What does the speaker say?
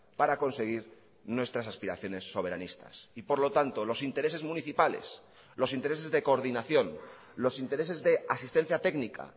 para conseguir nuestras aspiraciones soberanistas y por lo tanto los intereses municipales los intereses de coordinación los intereses de asistencia técnica